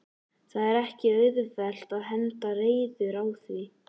Það er ekki auðvelt að henda reiður á því?